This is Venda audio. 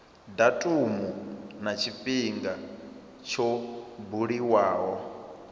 datumu na tshifhinga tsho buliwaho